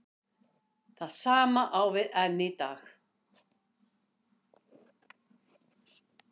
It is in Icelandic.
Það sama á við enn í dag.